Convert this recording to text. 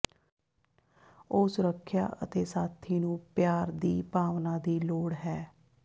ਉਹ ਸੁਰੱਖਿਆ ਅਤੇ ਸਾਥੀ ਨੂੰ ਪਿਆਰ ਦੀ ਭਾਵਨਾ ਦੀ ਲੋੜ ਹੈ